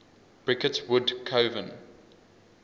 bricket wood coven